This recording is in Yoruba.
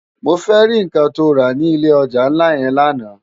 Mó fè ri nkán tó rá ni ilé òjá nlá yèn làná